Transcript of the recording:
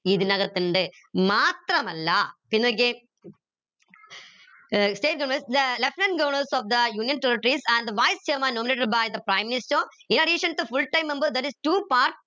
ഇതിനകത്തിണ്ട് മാത്രമല്ല നോക്കിയേ ഏർ state the Lt. Governors of the union territories and the voice chairman nominated by the Prime Minister full time members that is too part